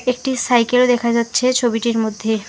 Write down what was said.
একটি সাইকেল দেখা যাচ্ছে ছবিটির মধ্যে।